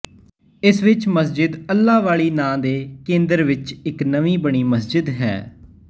ਇਸ ਵਿੱਚ ਮਸਜਿਦ ਅੱਲ੍ਹਾ ਵਾਲੀ ਨਾਂ ਦੇ ਕੇਂਦਰ ਵਿੱਚ ਇੱਕ ਨਵੀਂ ਬਣੀ ਮਸਜਿਦ ਹੈ